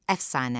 Əfsanə.